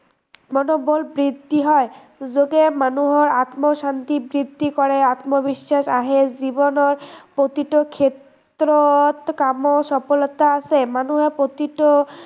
মনোবল বৃদ্ধি হয়, যোগে মানুহৰ আত্মশান্তি বৃদ্ধি কৰে, আত্মবিশ্ৱাস আহে জীৱনৰ প্ৰতিটো ক্ষেত্ৰত কামৰ সফলতা আছে, মানুহে প্ৰতিটো